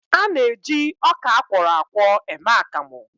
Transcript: A na-eji ọka akwọrọ akwọ eme akamụ